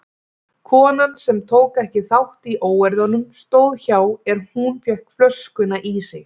Konan sem tók ekki þátt í óeirðunum stóð hjá er hún fékk flöskuna í sig.